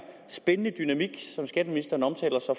spændende dynamik som skatteministeren omtaler så